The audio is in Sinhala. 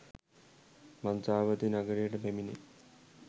මන්තාවතී නගරයට පැමිණේ